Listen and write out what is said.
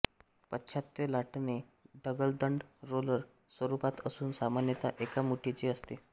पाश्चात्य लाटणे ढकलदंड रोलर स्वरुपात असून सामान्यतः एका मुठीचे असते